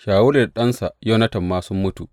Shawulu da ɗansa Yonatan ma sun mutu.